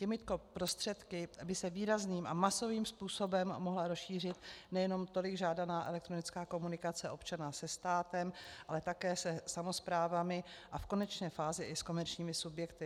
Těmito prostředky by se výrazným a masovým způsobem mohla rozšířit nejenom tolik žádaná elektronická komunikace občana se státem, ale také se samosprávami a v konečné fázi i s komerčními subjekty.